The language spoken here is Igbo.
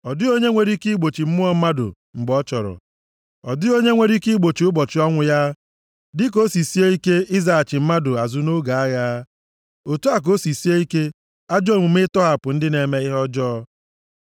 Ọ dịghị onye nwere ike igbochi mmụọ mmadụ + 8:8 Maọbụ, ifufe mgbe ọ chọrọ. Ọ dịghị onye nwere ike igbochi ụbọchị ọnwụ ya. Dịka o si sie ike izighachi mmadụ azụ nʼoge agha, otu a ka o si sie ike ajọ omume ịtọghapụ ndị na-eme ihe ọjọọ.